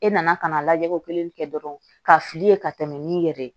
E nana ka na lajɛ ko kelen kɛ dɔrɔn ka fili ka tɛmɛ n'i yɛrɛ ye